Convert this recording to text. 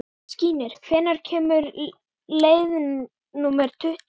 Skírnir, hvenær kemur leið númer tuttugu?